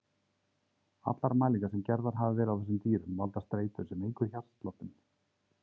Allar mælingar sem gerðar hafa verið á þessum dýrum valda streitu sem eykur hjartsláttinn.